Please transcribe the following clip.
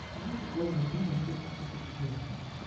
найди футбольную игру манчестер сити с челси